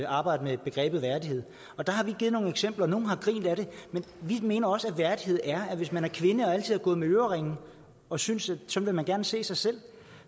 arbejde med begrebet værdighed der har vi givet nogle eksempler og nogle har grint ad det men vi mener også at værdighed er at hvis man er kvinde og altid har gået med øreringe og synes at sådan vil man gerne se sig selv